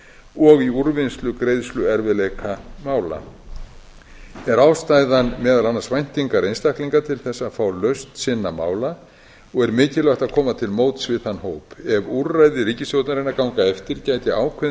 og í úrvinnslu greiðsluerfiðleikamála er ástæðan meðal annars væntingar einstaklinga til þess að fá lausn sinna mála og er mikilvægt að koma til móts við þann hóp ef úrræði ríkisstjórnarinnar ganga eftir gæti ákveðinn